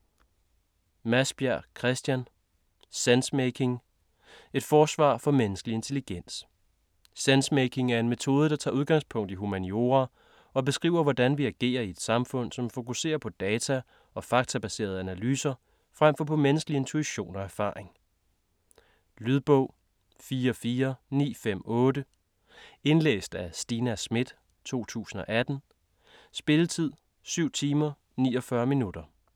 Madsbjerg, Christian: Sensemaking: et forsvar for menneskelig intelligens Sensemaking er en metode, der tager udgangspunkt i humaniora, og beskriver hvordan vi agerer i et samfund, som fokuserer på data og faktabaserede analyser fremfor på menneskelig intuition og erfaringer. Lydbog 44958 Indlæst af Stina Schmidt, 2018. Spilletid: 7 timer, 49 minutter.